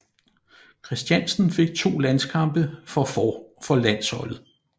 Christiansen fik to landskampe for landsholdet